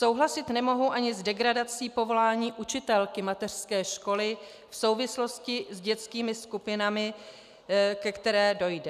Souhlasit nemohu ani s degradací povolání učitelky mateřské školy v souvislosti s dětskými skupinami, ke které dojde.